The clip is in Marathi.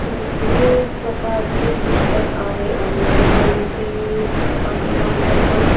इथे खूप प्रकारचे पुस्तक आहे आणि बूकांचे पाठीमग पण--